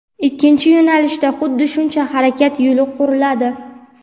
ikkinchi yo‘nalishda xuddi shuncha harakat yo‘li quriladi.